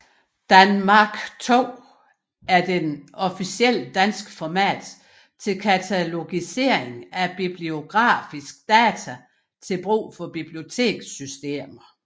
danMARC2 er det officielle danske format til katalogisering af bibliografiske data til brug for bibliotekssystemer